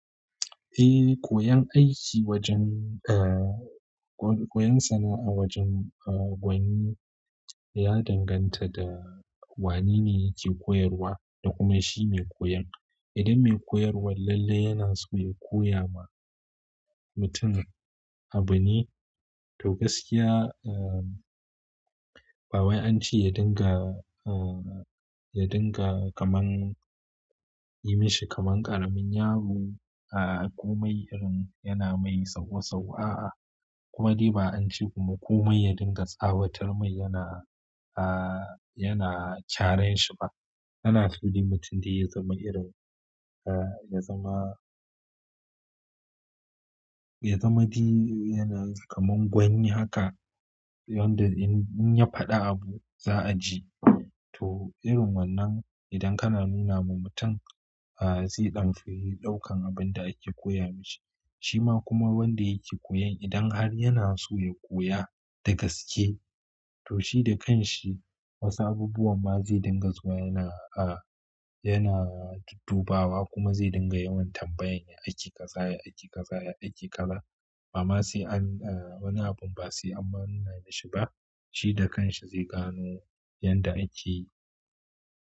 Eh koyan aiki wajen a, koyan sana'a wajen gwani ya danganta da wane ne yake koyarwa da kuma shi mai koyon. Idan mai koyarwar lalle yana so ya koya ma mutum abu ne, to gaskiya, eh, ba wai ance ya dinga, eh, ya dinga kamar yi mashi kamar ƙaramin yaro, a, komai irin yana mai sauwa sauwa, a. Kuma dai ba ance kuma komai ya dinga tsawatar mai yana, a, yana kyaren shi ba. Ana so dai mutum dai ya zama irin, eh, ya zama, ya zama dai yana kamar gwani haka, yanda in, in ya faɗa abu za a ji. To irin wannan idan kana nuna ma mutum, a, zai ɗan fi ɗaukan abin da ake koya mashi. Shi ma kuma wanda yake koyon idan har yana so ya koya da gaske, to shi da kanshi wasu abubuwan ma zai dinga zuwa yana, a, yana duddu bawa kuma zai dinga yawan tambayan ya ake ƙaza ya, ake ƙaza ya, ake ƙaza. Amma sai an, eh, wani abun ba sai an nuna mashi ba. Shi da kanshi zai gano yanda ake.